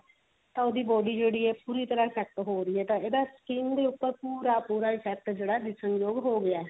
ਤਾਂ ਉਹਦੀ body ਜਿਹੜੀ ਹੈ ਪੂਰੀ ਤਰਾਂ effect ਹੋ ਰਹੀ ਹੈ ਤਾਂ ਇਹਦਾ skin ਦੇ ਉੱਪਰ ਪੂਰਾ ਪੂਰਾ effect ਜਿਹੜਾ ਦਿਸਣ ਯੋਗ ਹੋਗਿਆ ਹੀ